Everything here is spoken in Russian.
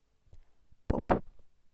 поп